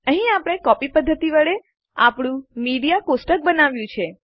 અહીં આપણે કોપી પદ્ધતિ વડે આપણું મીડિયા ટેબલ બનાવ્યું